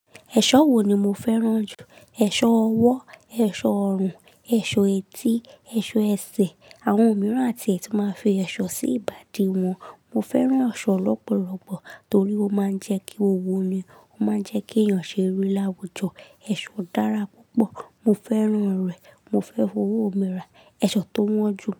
Ẹ̀ṣọ́ wo ni mo fẹ́ràn jù? Ẹ̀ṣọ́ ọwọ́, ẹ̀ṣọ́ ọrùn, ẹ̀ṣọ́ etí, ẹ̀ṣọ́ ẹsẹ̀. Àwọn mìíràn àti tu máa ń fi ẹ̀ṣọ́ sí ìbàdí wọn. Mo fẹ́ràn ẹ̀ṣọ́ lọ́pọ̀lọpọ̀ torí ó máa ń jẹ́ kí ó wo ni, ó máa ń jẹ́ kí èèyàn ṣe rí láwùjọ. Ẹ̀ṣọ́ dára púpọ̀. Mo fẹ́ràn rẹ̀. Mo fẹ́ fi owó mìíràn. Ẹ̀ṣọ́ tó wọ́n jù.